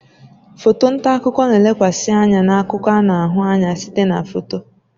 Foto nta akụkọ na-elekwasị anya na akụkọ a na-ahụ anya site na foto